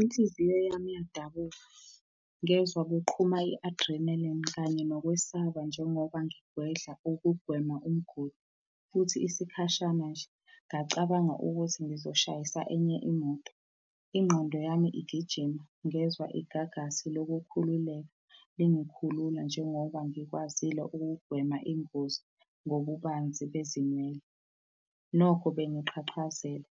Inhliziyo yami iyadabuka, ngezwa kuqhuma i-adrenaline kanye nokwesaba njengoba ngigwedla ukugwema umgodi, futhi isikhashana nje, ngacabanga ukuthi ngizoshayisa enye imoto. Ingqondo yami igijima ngezwa igagasi lokukhululeka lingikhulula, njengoba ngikwazile ukugwema ingozi ngobubanzi bezinwele. Nokho bengiqhaqhazela